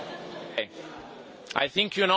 I think you know what I am going to say.